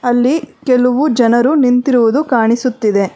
ಅಲ್ಲಿ ಕೆಲುವು ಜನರು ನಿಂತಿರುವುದು ಕಾಣಿಸುತ್ತಿದೆ.